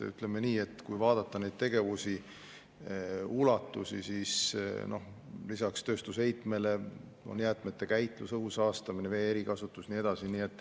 Ütleme nii, et kui vaadata neid tegevusi, ulatusi, siis lisaks tööstusheitmele on jäätmete käitlus, õhu saastamine, vee erikasutus ja nii edasi.